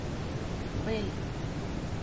белль